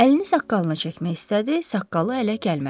Əlini saqqalına çəkmək istədi, saqqalı ələ gəlmədi.